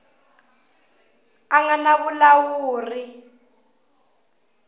a nga na vulawuri byo